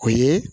O ye